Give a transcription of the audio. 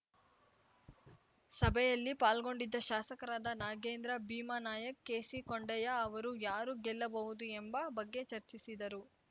ಸಭೆಯಲ್ಲಿ ಪಾಲ್ಗೊಂಡಿದ್ದ ಶಾಸಕರಾದ ನಾಗೇಂದ್ರ ಭೀಮಾ ನಾಯ್ಕ ಕೆಸಿಕೊಂಡಯ್ಯ ಅವರು ಯಾರು ಗೆಲ್ಲಬಹುದು ಎಂಬ ಬಗ್ಗೆ ಚರ್ಚಿಸಿದರು